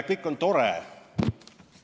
Kõik on tore.